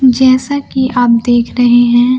जैसा कि आप देख रहे हैं।